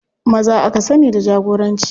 Maza aka sani da jagoranci.